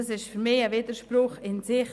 Das ist für mich ein Widerspruch in sich.